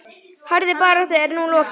Harðri baráttu er nú lokið.